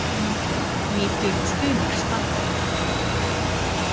Nýtur stuðnings Bandaríkjanna